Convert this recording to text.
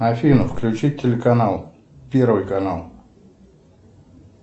афина включи телеканал первый канал